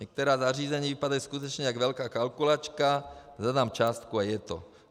Některá zařízení vypadají skutečně jak velká kalkulačka, zadám částku a je to.